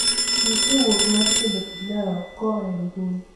nyis wuok mar tedo pilau koa e mbuyi